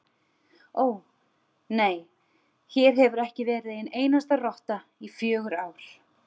Ó, nei, hér hefur ekki verið ein einasta rotta í fjögur ár